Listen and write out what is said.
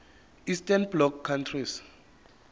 eastern bloc countries